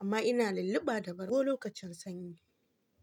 Amma ina lulluɓa da bargo lokacin sanyi.